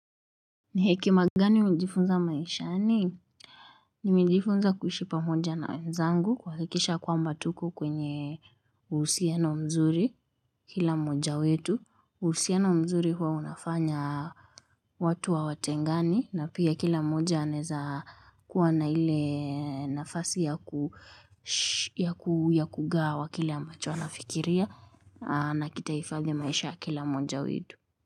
Ni hekima gani umejifunza maishani? Nimejifunza kuishi pamoja na wenzangu kuhakikisha kwamba tuko kwenye uhusiano mzuri kila mmoja wetu. Uhusiano mzuri huwa unafanya watu hawatengani na pia kila moja anaeza kuwa na ile nafasi ya kugawa kile ambacho wanafikiria na kitaifadhi maisha kila mmoja wetu.